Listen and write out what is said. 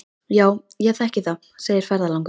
Já, ég þekki það, segir ferðalangur.